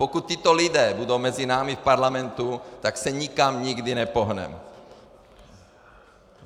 Pokud tito lidé budou mezi námi v parlamentu, tak se nikam nikdy nepohneme.